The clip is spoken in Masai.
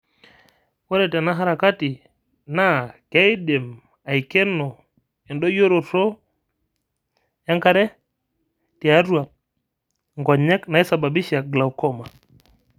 Ore tena harakati naa keidim aikeno endoyioroto e enkare tiatua inkonyek naisababisha glaucoma?